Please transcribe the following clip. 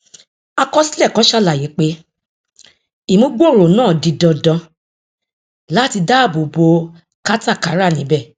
àkọsílẹ kan sàlàyé pé ìmúgbòòrò náà di dandan láti dáàbò bo katakara níbẹ